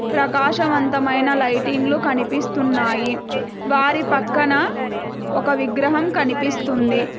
ప్రకాశంవంతమైన lighting లు కనిపిస్తున్నాయి వారి పక్కన ఒక విగ్రహం కనిపిస్తుంది.